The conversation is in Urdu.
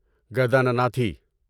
گدانناتھی